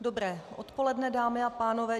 Dobré odpoledne, dámy a pánové.